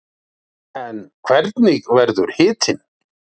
en hvernig verður hitinn